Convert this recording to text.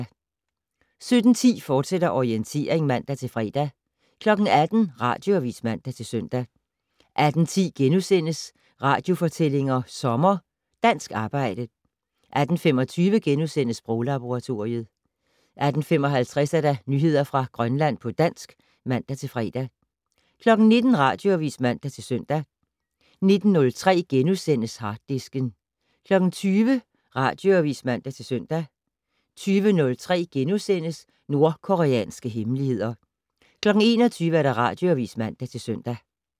17:10: Orientering, fortsat (man-fre) 18:00: Radioavis (man-søn) 18:10: Radiofortællinger sommer: Dansk arbejde * 18:25: Sproglaboratoriet * 18:55: Nyheder fra Grønland på dansk (man-fre) 19:00: Radioavis (man-søn) 19:03: Harddisken * 20:00: Radioavis (man-søn) 20:03: Nordkoreanske hemmeligheder * 21:00: Radioavis (man-søn)